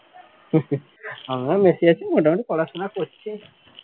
আমরা মেসি আছি মোটামুটি পড়াশোনা করছি